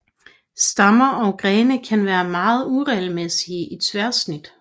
Stammer og grene kan være meget uregelmæssige i tværsnit